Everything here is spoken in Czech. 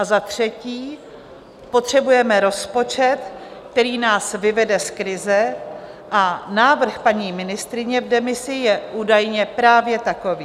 A za třetí, potřebujeme rozpočet, který nás vyvede z krize, a návrh paní ministryně v demisi je údajně právě takový.